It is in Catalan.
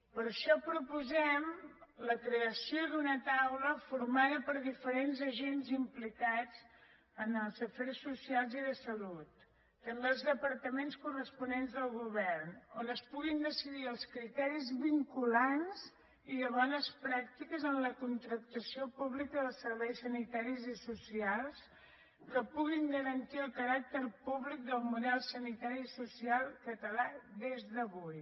per això proposem la creació d’una taula formada per diferents agents implicats en els afers socials i de salut també els departaments corresponents del govern on es puguin decidir els criteris vinculants i de bones pràctiques en la contractació pública dels serveis sanitaris i socials que puguin garantir el caràcter públic del model sanitari i social català des d’avui